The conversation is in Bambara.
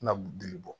Na dili bɔ